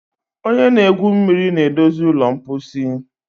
onye na-egwu mmiri na-edozi ụlọ mposi